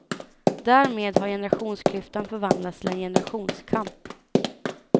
Därmed har generationsklyftan förvandlats till en generationskamp.